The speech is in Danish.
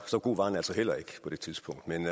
så god var han altså heller ikke på det tidspunkt men